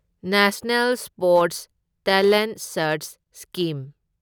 national sports talent search scheme